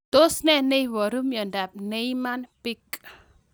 Tos ne neiparu miondop Niemann Pick